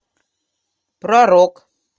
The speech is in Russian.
про рок